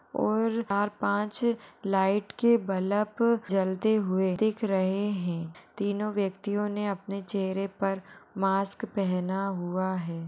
ओर चार-पाँच लाइट के बलब जलते हुए दिख रहे है तीनों व्यक्तियोने अपने चेहेरे पर मास्क पहना हुआ है।